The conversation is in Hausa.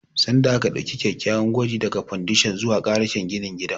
Sanda aka ɗauki kyakkyawar gwaji daga fandashon ruwa karashin ginin gidan